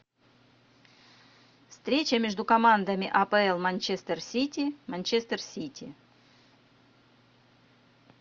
встреча между командами апл манчестер сити манчестер сити